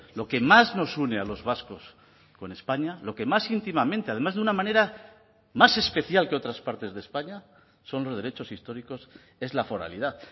lo que más nos une a los vascos con españa lo que más íntimamente además de una manera más especial que otras partes de españa son los derechos históricos es la foralidad